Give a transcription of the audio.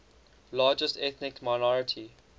largest ethnic minority